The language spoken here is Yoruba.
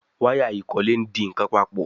Waya ikole dì nkán papọ̀.